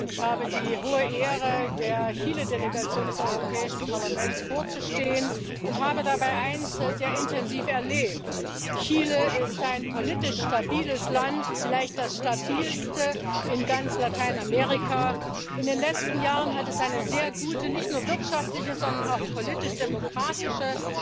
Ich habe die große Ehre, der Chile Delegation des Europäischen Parlaments vorzustehen, und habe dabei eines sehr intensiv erlebt Chile ist ein politisch stabiles Land, vielleicht das stabilste in ganz Lateinamerika. In den letzten Jahren hat es eine sehr gute, nicht nur wirtschaftliche, sondern auch politisch demokratische